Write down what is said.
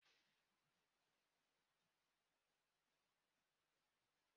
M ga-agbata mmiri site na tankị dị n'okpuru ala